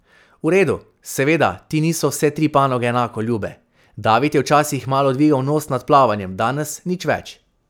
V redu, seveda ti niso vse tri panoge enako ljube, David je včasih malo dvigal nos nad plavanjem, danes nič več.